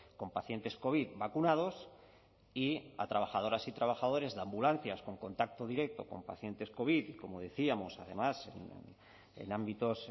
con pacientes covid vacunados y a trabajadoras y trabajadores de ambulancias con contacto directo con pacientes covid como decíamos además en ámbitos